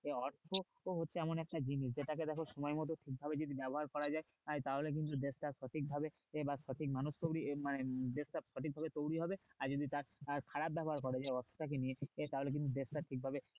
অর্থ হচ্ছে এমন একটা জিনিস যেটাকে দেখো সময় মত সঠিক ভাবে যদি ব্যবহার করা যায় তাহলে কিন্তু দেশটা সঠিক ভাবে বা সঠিক মানুষ তৈরি মানে দেশটা সঠিক ভাবে তৈরি হবে আর যদি তার আহ খারাপ ব্যবহার করো সেই অর্থ টাকে নিয়ে তাহলে কিন্তু দেশটা ঠিকভাবে